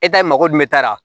E ta ye mago dun taara